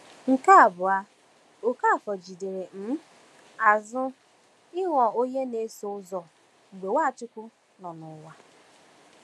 Nke abụọ, Okafor jidere um azụ ịghọ onye na-eso ụzọ mgbe Nwachukwu nọ n’ụwa.